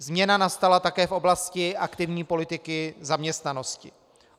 Změna nastala také v oblasti aktivní politiky zaměstnanosti.